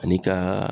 Ani ka